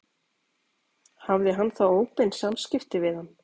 Hafði hann þá óbein samskipti við hann?